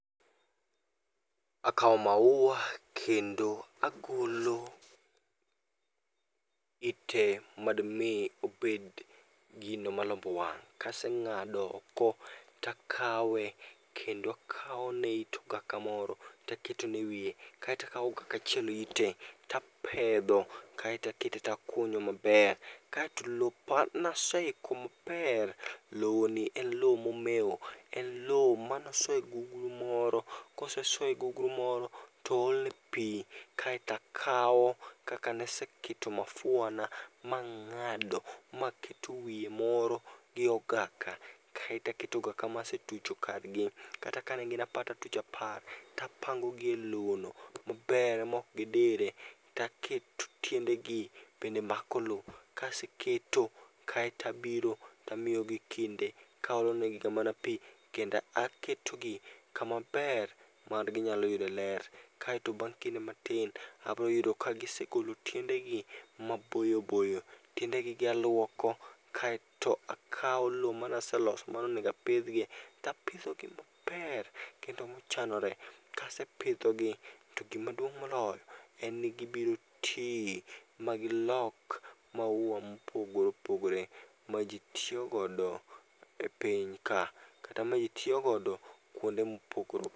Akawo maua kendo agolo ite madmi obed gino malombo wang'. Kaseng'ado oko takawe kendo akawone it okaka moro taketone e wiye. Kaetakawo okaka achiel ie tapedho kaeto akete takunyo maber. Kaeto lopa naseiko maber, lowo ni en lowo momeo, en lo manoso e gugru moro. Koseso e gugru moro, to oolne pi kaetakawo kaka naseketo mafuana mang'ado maketo wiye moro gi ogaka. Kaeta keto ogaka ma asetucho kargi, kata kanegin apar tatucho apar. Tapango gi e lowo no maber ma ok gidire, taketo tiendegi bende mako lo. Kaseketo, kaeta biro tamiyogi kinde kaolonegi ga mana pi kenda ketogi kama ber ma ginyalo yude ler. Kaeto bang' kinde matin, abroyudo ka gisegolo tiendegi maboyoboyo. Tiendegi gi aluoko kaeto akawo lo manaseloso manonegabpidhgie, tapidhogi maber kendo mochanore. Kasepidhogi to gimaduong' moloyo en ni gibiro ti ma gilok maua mopogore opogore ma ji tiyo godo e piny ka. Kata maji tiyogodo luonde mopogore opogore.